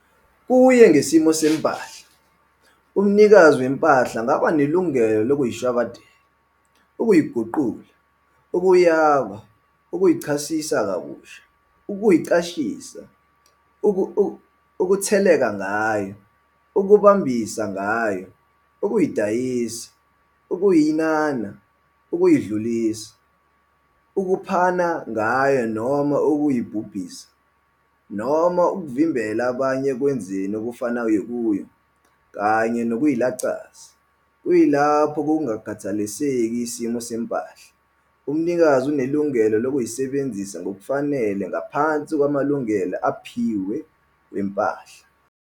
Kuye ngesimo sempahla, umnikazi wempahla angaba nelungelo lokuyishwabadela, ukuyiguqula, ukuyaba, ukuyichasisa kabusha, ukuyiqashisa, ukutsheleka ngayo, ukubambisa ngayo, ukuyidayisa, ukuyinana, ukuyidlulisa, ukuphana ngayo noma ukuyibhubhisa, noma ukvimbela abanye ekwenzeni okufanayo kuyo, kanye nokuyilaxaza, kuyilapho kungakhathaliseki isimo sempahla, umnikazi unelungelo lokuyisebenzisa ngokufanele ngaphansi kwamalungelo awaphiwe wempahla.